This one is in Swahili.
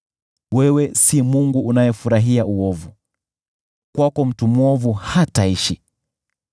Wewe si Mungu unayefurahia uovu, kwako mtu mwovu hataishi.